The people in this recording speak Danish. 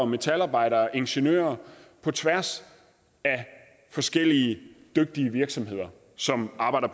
metalarbejdere og ingeniører på tværs af forskellige dygtige virksomheder som arbejder